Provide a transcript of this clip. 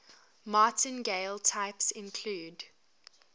martingale types include